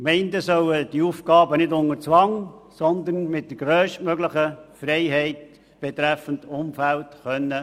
Die Gemeinden sollen die Aufgaben nicht unter Zwang, sondern mit der grösstmöglichen Freiheit betreffend Umfeld erfüllen können.